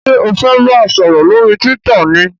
ṣe o fè bá sòrò lórí twitter ní?